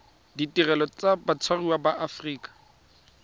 ditirelo tsa batshwariwa ba aforika